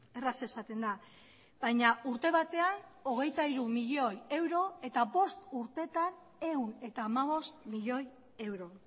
erraz esaten da baina urte batean hogeita hiru milioi euro eta bost urtetan ehun eta hamabost milioi euro